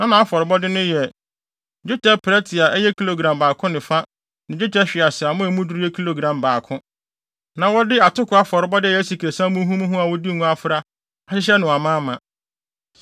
Na nʼafɔrebɔde no yɛ: dwetɛ prɛte a ɛyɛ kilogram baako ne fa ne dwetɛ hweaseammɔ a emu duru yɛ kilogram baako. Na wɔde atoko afɔrebɔde a ɛyɛ asikresiam muhumuhu a wɔde ngo afra ahyehyɛ no amaama;